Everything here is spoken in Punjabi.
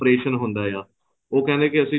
operation ਹੁੰਦਾ ਆ ਉਹ ਕਹਿੰਦੇ ਕੀ ਅਸੀਂ